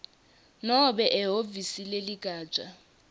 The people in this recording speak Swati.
nobe ehhovisi leligatja